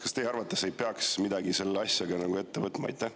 Kas teie arvates ei peaks midagi selle asjaga ette võtma?